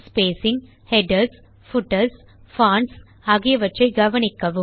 spacing headers footers fonts ஆகியவற்றை கவனிக்கவும்